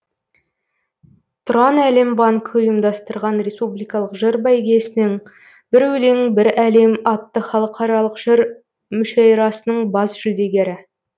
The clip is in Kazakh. тұранәлембанкі ұйымдастырған республикалық жыр бәйгесінің бір өлең бір әлем атты халықаралық жыр мүшәйрасының бас жүлдегері